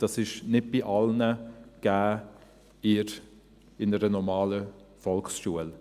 Das ist nicht bei allen gegeben in einer normalen Volksschule.